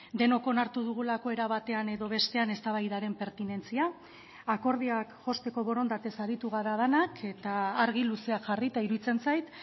denok onartu dugulako era batean edo bestean eztabaidaren pertinentzia akordioak josteko borondatez aritu gara denak eta argi luzeak jarrita iruditzen zait